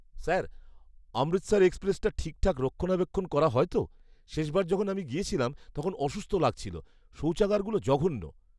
Sir, Amritsar এক্সপ্রেসটা ঠিকঠাক রক্ষণাবেক্ষণ করা হয় তো? শেষবার যখন আমি গিয়েছিলাম তখন অসুস্থ লাগছিলো। শৌচাগারগুলো জঘন্য।